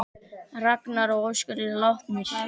Ragnar og Óskar eru látnir.